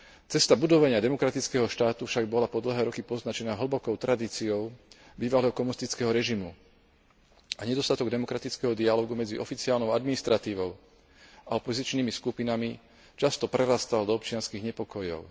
Cesta budovania demokratického štátu však bola po dlhé roky poznačená hlbokou tradíciou bývalého komunistického režimu a nedostatok demokratického dialógu medzi oficiálnou administratívou a opozičnými skupinami často prerastal do občianskych nepokojov.